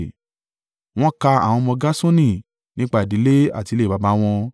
Wọ́n ka àwọn ọmọ Gerṣoni nípa ìdílé àti ilé baba wọn.